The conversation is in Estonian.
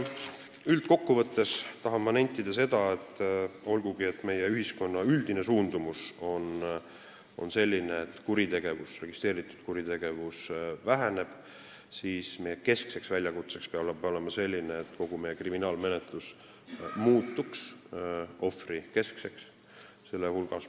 Üldkokkuvõttes tahan ma nentida, et olgugi meie ühiskonna üldine suundumus selline, et registreeritud kuritegevus väheneb, peab meie keskseks väljakutseks olema see, et kogu kriminaalmenetlus muutuks ohvrikeskseks.